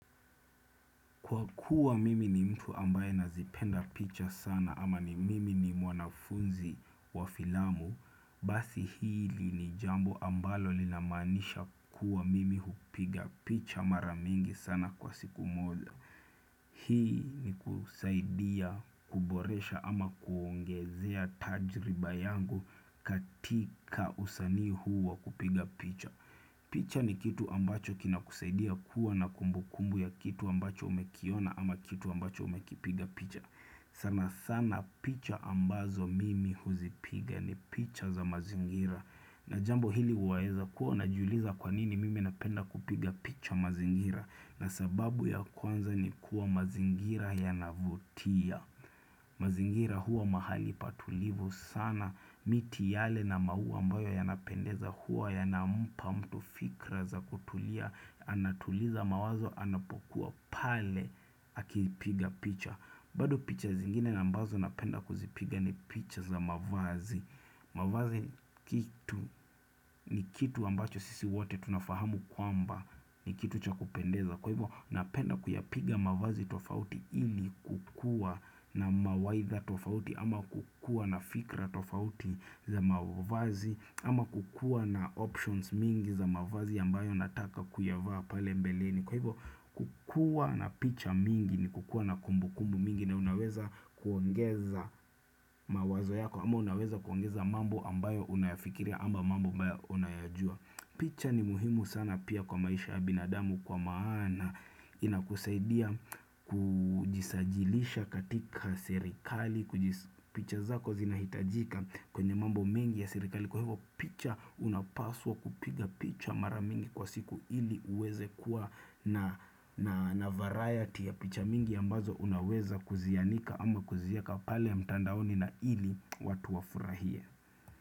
Kwa kuwa mimi ni mtu ambaye nazipenda picha sana ama ni mimi ni mwanafunzi wa filamu, basi hili ni jambo ambalo linamanisha kuwa mimi hupiga picha mara mingi sana kwa siku moja. Hii ni kusaidia kuboresha ama kuongezea tajriba yangu katika usanii huu wa kupiga picha. Picha ni kitu ambacho kinakusaidia kuwa na kumbukumbu ya kitu ambacho umekiona ama kitu ambacho umekipiga picha sana sana picha ambazo mimi huzipiga ni picha za mazingira na jambo hili waezakuwa unajuliza kwanini mimi napenda kupiga picha mazingira, na sababu ya kwanza ni kuwa mazingira yanavutia mazingira huwa mahali patulivu sana miti yale na maua ambayo yanapendeza huwa yanampa mtu fikra za kutulia, anatuliza mawazo anapokuwa pale akipiga picha. Bado picha zingine na ambazo napenda kuzipiga ni picha za mavazi mavazi kitu ni kitu ambacho sisi wote tunafahamu kwamba ni kitu cha kupendeza kwa hivyo napenda kuyapiga mavazi tofauti ili kukuwa na mawaidha tofauti ama kukuwa na fikra tofauti za mavazi ama kukuwa na options mingi za mavazi ambayo nataka kuyavaa pale mbeleni Kwa hivyo kukuwa na picha mingi ni kukuwa na kumbu kumbu mingi na unaweza kuongeza mawazo yako ama unaweza kuongeza mambo ambayo unayafikiria ama mambo ambayo unayajua. Picha ni muhimu sana pia kwa maisha binadamu Kwa maana inakusaidia kujisajilisha katika serikali picha zako zinahitajika kwenye mambo mengi ya sirikali kwa hivyo picha unapaswa kupiga picha mara mingi kwa siku ili uweze kuwa na varayati ya picha mingi ambazo unaweza kuzianika ama kuziweka pale mtandaoni na ili watu wafurahie.